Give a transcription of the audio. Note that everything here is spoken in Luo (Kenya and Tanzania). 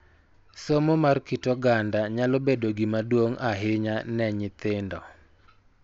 Somo mar kit oganda nyalo bedo gima duong� ahinya ne nyithindo .